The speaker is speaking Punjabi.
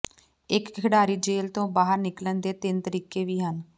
ਇੱਕ ਖਿਡਾਰੀ ਜੇਲ ਤੋਂ ਬਾਹਰ ਨਿਕਲਣ ਦੇ ਤਿੰਨ ਤਰੀਕੇ ਵੀ ਹਨ